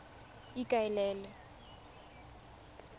ikaelele